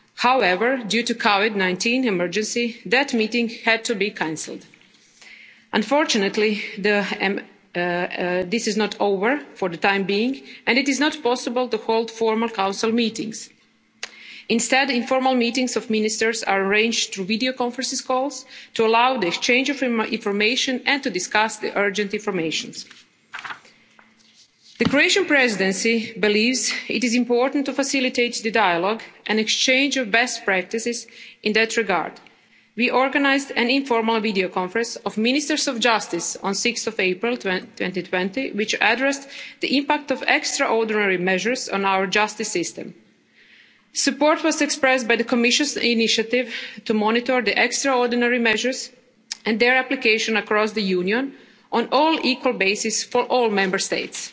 March 2020. However, due to the COVID 19 emergency, that meeting had to be cancelled. Unfortunately, this is not over for the time being, and it is not possible to hold formal Council meetings. Instead, informal meetings of ministers are arranged through videoconference calls to allow the exchange of information and to discuss urgent information. The Croatian Presidency believes it is important to facilitate the dialogue and exchange of best practices. In that regard, we organised an informal videoconference of ministers of justice on 6 April 2020, which addressed the impact of extraordinary measures on our justice system. Support was expressed by the Commission's initiative to monitor the extraordinary measures and their application across the Union on an equal basis for all Member